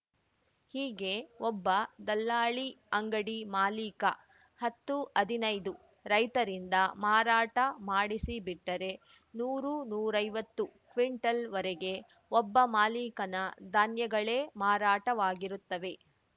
ಹೀಗೆ ಒಬ್ಬ ದಲ್ಲಾಲಿ ಅಂಗಡಿ ಮಾಲೀಕ ಹತ್ತುಹದ್ನಾಯ್ದುರೈತರಿಂದ ಮಾರಾಟ ಮಾಡಿಸಿಬಿಟ್ಟರೆ ನೂರುನೂರೈವತ್ತು ಕ್ವಿಂಟಲ್ವರೆಗೆ ಒಬ್ಬ ಮಾಲಿಕನ ಧಾನ್ಯಗಳೇ ಮಾರಾಟವಾಗಿರುತ್ತವೆ